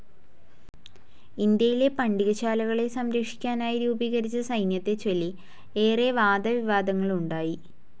ഇന്ത്യയിലെ പണ്ടികശാലകളെ സംരക്ഷിക്കാനായി രൂപീകരിച്ച സൈന്യത്തെച്ചൊല്ലി ഏറെ വാദവിവാദങ്ങളുണ്ടായി.